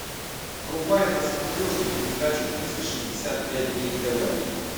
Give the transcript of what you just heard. врубай на смотрешке передачу триста шестьдесят пять дней тв